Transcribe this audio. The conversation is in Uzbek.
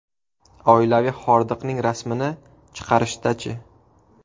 Oilaviy hordiqning rasmini chiqarishda-chi?